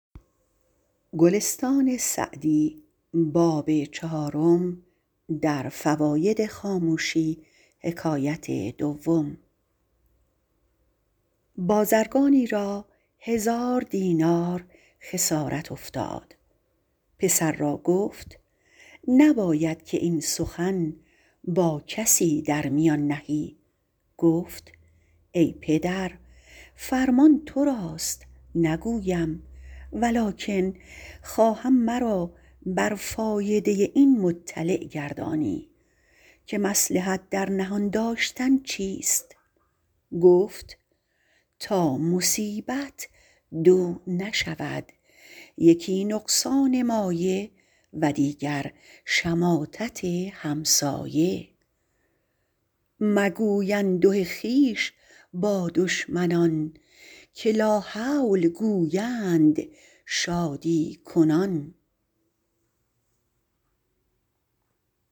بازرگانی را هزار دینار خسارت افتاد پسر را گفت نباید که این سخن با کسی در میان نهی گفت ای پدر فرمان تو راست نگویم ولکن خواهم مرا بر فایده این مطلع گردانی که مصلحت در نهان داشتن چیست گفت تا مصیبت دو نشود یکی نقصان مایه و دیگر شماتت همسایه مگوی انده خویش با دشمنان که لاحول گویند شادی کنان